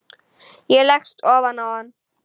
Ég leggst ofan á hann.